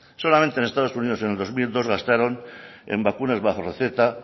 solamente en estados unidos en dos mil dos gastaron en vacunas bajo receta